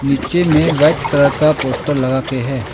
नीचे में white colour का पोस्टर लगा के हैं।